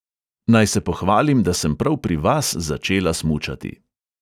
Naj se pohvalim, da sem prav pri vas začela smučati.